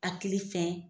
Hakili fɛn